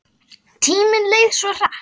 Tíminn leið svo hratt.